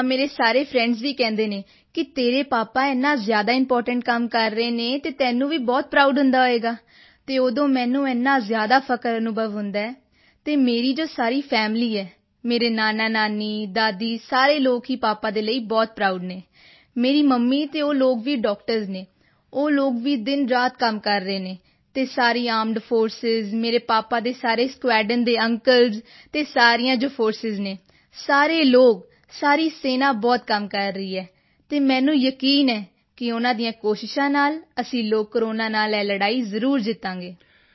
ਹਾਂ ਮੇਰਾ ਸਾਰੇ ਫ੍ਰੈਂਡਜ਼ ਵੀ ਕਹਿੰਦੇ ਹਨ ਕਿ ਤੇਰੇ ਪਾਪਾ ਇੰਨਾ ਜ਼ਿਆਦਾ ਇੰਪੋਰਟੈਂਟ ਕੰਮ ਕਰ ਰਹੇ ਹਨ ਅਤੇ ਤੈਨੂੰ ਵੀ ਬਹੁਤ ਪ੍ਰਾਉਡ ਹੁੰਦਾ ਹੋਵੇਗਾ ਅਤੇ ਉਦੋਂ ਮੈਨੂੰ ਏਨਾ ਜ਼ਿਆਦਾ ਫ਼ਖਰ ਅਨੁਭਵ ਹੁੰਦਾ ਹੈ ਅਤੇ ਮੇਰੀ ਜੋ ਸਾਰੀ ਫੈਮਿਲੀ ਹੈ ਮੇਰੇ ਨਾਨਾਨਾਨੀ ਦਾਦੀ ਸਾਰੇ ਲੋਕ ਹੀ ਪਾਪਾ ਦੇ ਲਈ ਬਹੁਤ ਪ੍ਰਾਉਡ ਹਨ ਮੇਰੀ ਮੰਮੀ ਅਤੇ ਉਹ ਲੋਕ ਵੀ ਡਾਕਟਰਜ਼ ਹਨ ਉਹ ਲੋਕ ਵੀ ਦਿਨਰਾਤ ਕੰਮ ਕਰ ਰਹੇ ਹਨ ਅਤੇ ਸਾਰੀ ਆਰਮਡ ਫੋਰਸਿਸ ਮੇਰੇ ਪਾਪਾ ਦੇ ਸਾਰੇ ਸਕੁਆਡਰੋਨ ਦੇ ਅੰਕਲਜ਼ ਅਤੇ ਸਾਰੀਆਂ ਜੋ ਫੋਰਸਿਸ ਹਨ ਸਾਰੇ ਲੋਕ ਸਾਰੀ ਸੈਨਾ ਬਹੁਤ ਕੰਮ ਕਰ ਰਹੀ ਹੈ ਅਤੇ ਮੈਨੂੰ ਯਕੀਨ ਹੈ ਕਿ ਉਨ੍ਹਾਂ ਦੀਆਂ ਕੋਸ਼ਿਸ਼ਾਂ ਨਾਲ ਅਸੀਂ ਲੋਕ ਕੋਰੋਨਾ ਨਾਲ ਇਹ ਲੜਾਈ ਜ਼ਰੂਰ ਜਿੱਤਾਂਗੇ